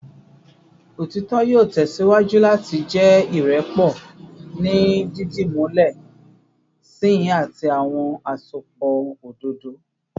Otitọ yoo tẹsiwaju lati jẹ irẹpọ ni didimulẹ sihin ati awọn asopọ ododo